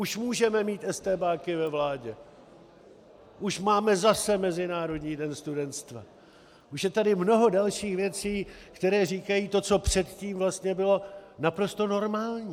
Už můžeme mít estébáky ve vládě, už máme zase Mezinárodní den studentstva, už je tady mnoho dalších věcí, které říkají to, co předtím vlastně bylo naprosto normální.